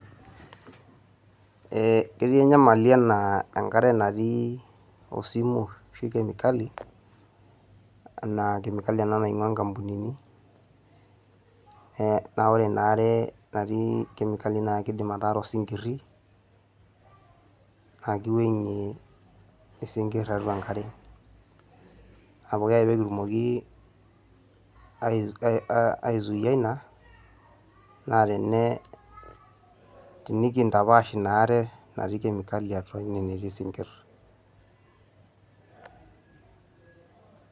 Eeeh ketii enyamali enaa ankare natii osimu ashu [ kemikali. Enaa kemikali ena naing`uaa nkampunini naa ore ina are natii kemikali naa keidim ataara osinkirri naa kiwang`ie isinkirr tiatua enkare. Naa pooki ake pee kindim aisuuia ina naa tenekintapaash ina are natii kemikali atua ine netii isinkirr.